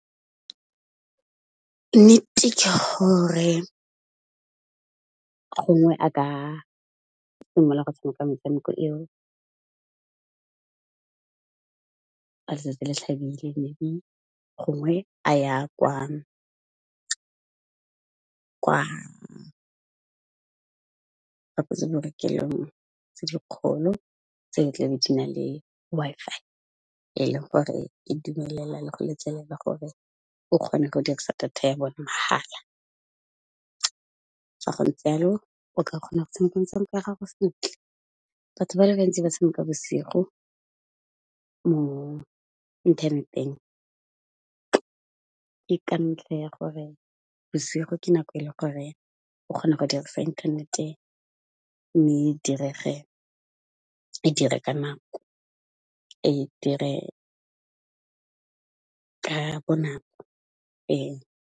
Nnete ke hore, gongwe a ka simolola go tshameka metshameko eo, ha 'tsatsi le tlhabile gongwe a ya kwa tse dikgolo tse tle be di na le Wi-Fi e le gore e dumelela le go letlelela gore o kgone go dirisa data ya bone mahala. Fa go ntse jalo o ka kgona go tshameka metshameko ya gago sentle, batho ba le bantsi ba tshameka bosigo mo inthaneteng ke ka ntlha ya gore bosigo ke nako e le gore o kgona go dirisa inthanete, mme e dire ka bonako, ee.